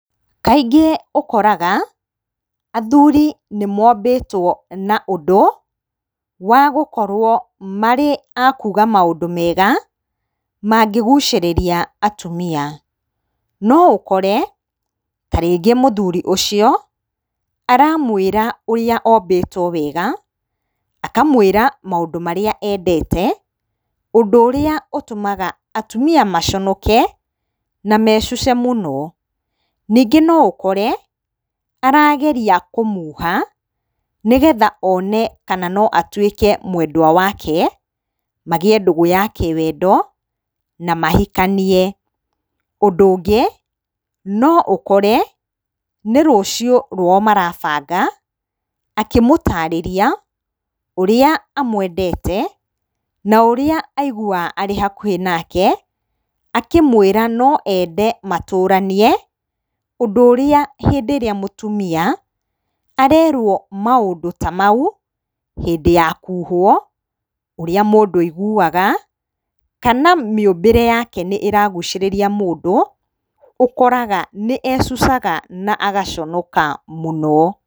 Kaingĩ ũkoraga athuri nĩ mombĩtwo na ũndũ wa gũkorwo marĩ a kuga maũndũ mega ma ngĩgucĩrĩria atumia. No ũkore ta rĩngĩ mũthuri ũcio aramwĩra ũria ũmbĩtwo wega, akamwĩra maũndũ marĩa endete ũndũ ũrĩa ũtũmaga atumia maconoke na mecuce mũno. Ningĩ no ũkore arageria kũmuha nĩgetha one kana no atuĩke mwendwa wake, magĩe ndũgũ ya kĩwendo na mahikanie. Ũndũ ũngĩ no ũkore nĩ rũciũ rwao marabanga akĩmũtarĩria ũrĩa amwendete, na ũrĩa aiguaga arĩ hakũhĩ nake akĩmwĩra no ende matũranie. Ũndũ ũrĩa hĩndĩ ĩrĩa mũtumia arerwo maũndũ ta mau hĩndĩ ya kuhwo ũrĩa mũndũ aiguaga kana mĩũmbĩre yake nĩ ĩragucĩrĩria mũndũ nĩũkoraga nĩ ecucaga na agaconoka mũno.